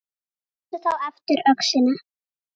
Taktu þá aftur öxina.